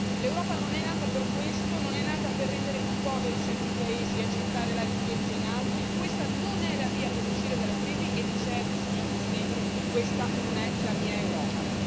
L'Europa non è nata per questo, non è nata per rendere più poveri certi paesi e accentrare la ricchezza in altri, questa non è la via per uscire dalla crisi e di certo, signor Presidente, questa non è la mia Europa.